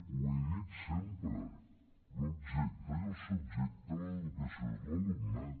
ho he dit sempre l’objecte i el subjecte de l’educació és l’alumnat